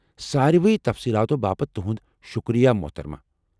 سارِوٕے تفصیٖلاتو باپت تُہُند شُکریہ محترمہٕ ۔